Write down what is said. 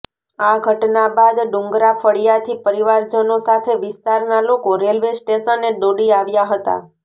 આ ઘટના બાદ ડુંગરા ફળિયાથી પરિવારજનો સાથે વિસ્તારના લોકો રેલવે સ્ટેશને દોડી આવ્યા હતા